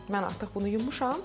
Mən artıq bunu yumuşam.